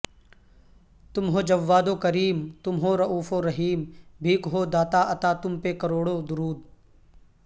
تم ہو جواد و کریم تم ہو رئوف ورحیم بھیک ہو داتاعطا تم پہ کروڑوںدرود